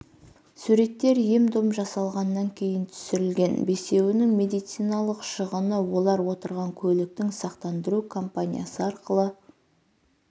суреттер ем дом жасалғаннан кейін түсірілген бесеуінің медициналық шығыны олар отырған көліктің сақтандыру компаниясы арқылы